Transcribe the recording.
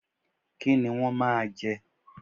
Kí ni wọ́n máa jẹ?